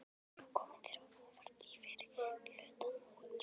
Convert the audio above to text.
Hefur eitthvað komið þér á óvart í fyrri hluta móts?